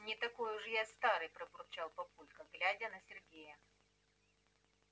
не такой уж я и старый пробурчал папулька глядя на сергея